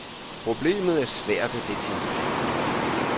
Problemet er svært at definere.